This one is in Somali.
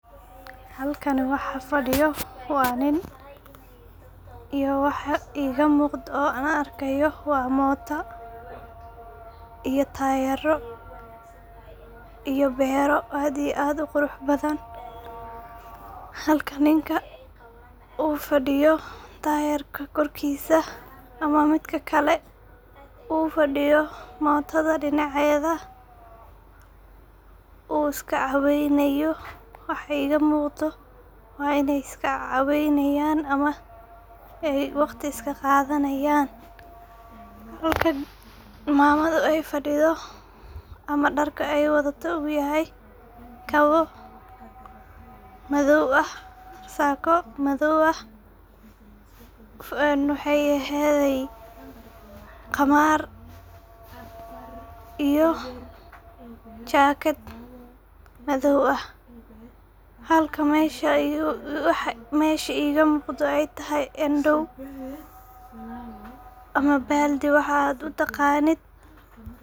Halkan waxa fadiyo iyo waxa iga muqda oo an arkaya waa moota iyo tayaro iyo beero aad iyo aad u qurux badan. Halka ninka u fadiyo tayarka korkisa ama midka kale u fadiyo mootada dinaceda uu iska caweynayo waxa iga muqdo waa iney iska caweynayan ama waqti iska qadanayan, halka mamada ay fadidho ama dharka ay wadato u yahay kaba madow ah ,sako madow ah waxey ehedey qamar iyo jakad madow ah halka ay mesha waxa iga muqdo ay tahay andow ama baldi waxaa aad u taqanid.